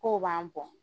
K'o b'an bɔ